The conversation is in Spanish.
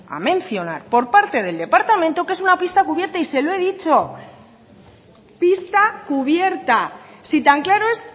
a mencionar por parte del departamento que es una pista cubierta y se lo he dicho pista cubierta si tan claro es